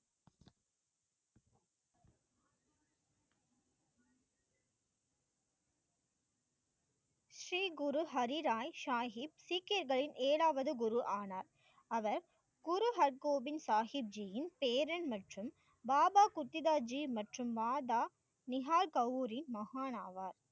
ஸ்ரீ குரு ஹரிராய் சாகிப், சீக்கியர்களின் ஏழாவது குரு ஆனார் அவர் குரு ஹற்கோபின் சாகித்ஜியின் பேரன் மற்றும் பாபா குத்திராஜ் மற்றும் மாதா, நிகார் கௌரி மகான் ஆவார்